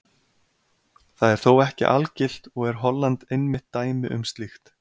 það er þó ekki algilt og er holland einmitt dæmi um slíkt